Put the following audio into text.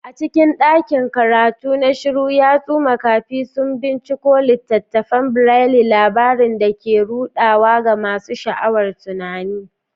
A cikin ɗakin karatu na shiru, yatsu makafi sun binciko littattafan Braille, labarun da ke ruɗawa ga masu sha'awar tunani.